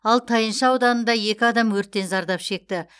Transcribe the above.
ал тайынша ауданында екі адам өрттен зардап шекті